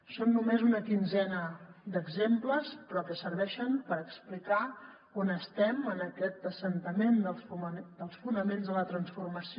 són només una quinzena d’exemples però que serveixen per explicar on estem en aquest assentament dels fonaments de la transformació